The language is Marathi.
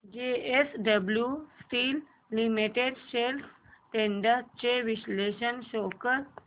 JSW steel limited shares trends चे विश्लेषण शो कर